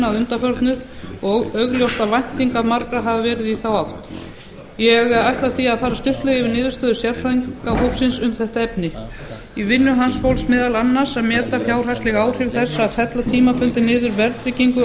að undanförnu og augljóst að væntingar margra hafa verið í þá átt ég ætla því að fara stuttlega yfir niðurstöður sérfræðingahópsins um þetta efni í vinnu hans fólst meðal annars að meta fjárhagsleg áhrif þess að fella tímabundið niður verðtryggingu